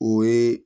O ye